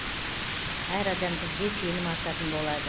әр адам бізге сенім артатын болады